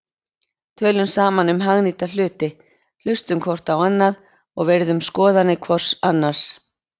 Tölum saman um hagnýta hluti, hlustum hvort á annað og virðum skoðanir hvort annars.